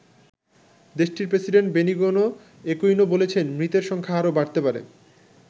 দেশটির president Benigno Aquino বলেছেন মৃতের সংখ্যা আরও বাড়তে পারে।